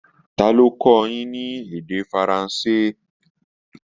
Ta ló ń kọ́ ọ yín ní èdè Faransé?